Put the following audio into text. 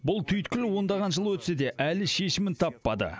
бұл түйткіл ондаған жыл өтсе де әлі шешімін таппады